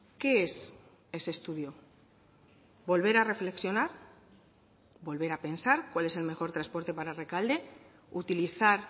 qué es ese estudio volver a reflexionar volver a pensar cuál es el mejor transporte para rekalde utilizar